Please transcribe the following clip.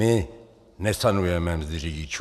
My nesanujeme mzdy řidičů.